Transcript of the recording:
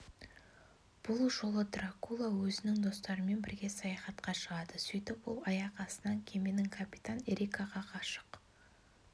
бұл жолы дракула өзімің достарымен бірге саяхатқа шығады сөйтіп ол аяқ астынан кеменің капитаны эрикаға ғашық